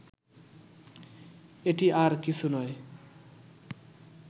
এটি আর কিছু নয়